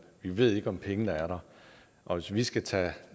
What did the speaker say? vi ved ikke om pengene er der og hvis vi skal tage